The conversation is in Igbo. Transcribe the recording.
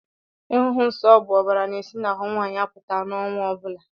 Ịhụ nsó bụ ọbàrà na-esi n'ahụ nwaanyị apụta n'ọnwa ọbula.